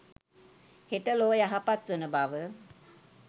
හෙට ලොව යහපත් වන බව